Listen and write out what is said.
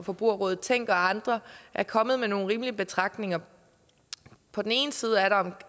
forbrugerrådet tænk og andre er kommet med nogle rimelige betragtninger på den ene side er der